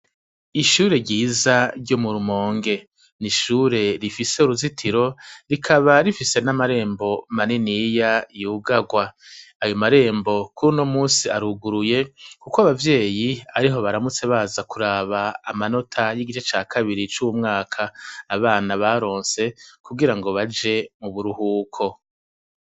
Ishure ryiza ryo mu Rumonge, ni ishure rifise uruzitiro rikaba rifise n'amarembo maniniya yugagwa, ayo marembo kur'uno musi aruguruye kuko abavyeyi ariho baramutse baza kuraba amanota y'igice ca kabiri cuwu mwaka abana baronse kugira ngo baje mu buruhuko.